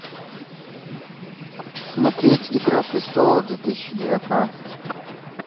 смотреть игра престолов две тысячи девятнадцать